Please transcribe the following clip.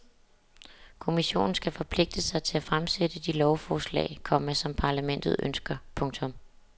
Kommissionen skal forpligte sig til at fremsætte de lovforslag, komma som parlamentet ønsker. punktum